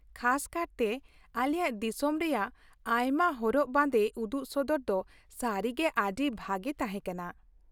ᱠᱷᱟᱥ ᱠᱟᱨᱛᱮ, ᱟᱞᱮᱭᱟᱜ ᱫᱤᱥᱚᱢ ᱨᱮᱭᱟᱜ ᱟᱭᱢᱟ ᱦᱚᱨᱚᱜ ᱵᱟᱸᱫᱮ ᱩᱫᱩᱜᱥᱚᱫᱚᱨ ᱫᱚ ᱥᱟᱹᱨᱤᱜᱮ ᱟᱹᱰᱤ ᱵᱷᱟᱹᱜᱤ ᱛᱟᱦᱮᱸ ᱠᱟᱱᱟ ᱾